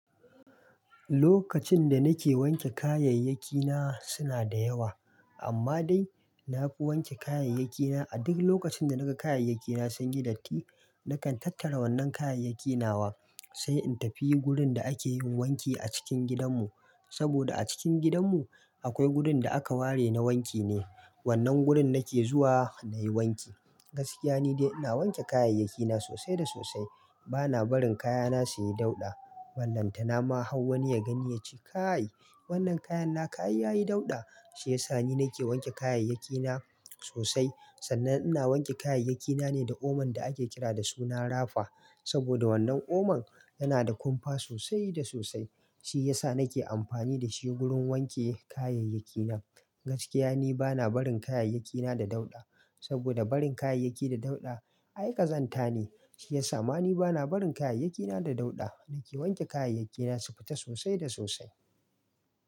Lokacin da nake wanke kayayyakina suna da yawa, amma dai na fi wanke kayayyakina a duk lokacin da naga kayayyakina sun yi datti. Nakan tattara wannan kayayyakina wa, sai in tafi wurin da ake yin wanki a cikin gidanmu, saboda a cikin gidanmu akwai wurin da aka ware na wanki ne. Wannan wurin nake zuwa na yi wanki. Gaskiya ni dai ina wanke kayayyakina sosai da sosai. Bana barin kayana suyi dauɗa, ballanta na ma hau wani ya gani ya ce kai wannan kayan na ka ai yayi dauɗa. Shi ya sa ni nake wanke kayayyakina sosai. Sannan ina wanke kayayyakina ne da oman da ake kira da suna "rafa", saboda wannan oman yana da kumfa sosai da sosai. Shi ya sa nake amfani da shi wurin wanke kayayyakina. Gaskiya ni bana barin kayayyakina da dauɗa, saboda barin kayayyaki da dauɗa aikazanta ne. Shi ya sa ma ni bana barin kayayyakina da dauɗa. Nake wanke kayayyakina su fita sosai da sosai.